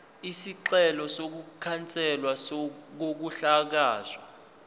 isicelo sokukhanselwa kokuhlakazwa